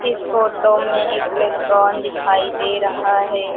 इस फोटो में एक रेस्टोरेंट दिखाई दे रहा है।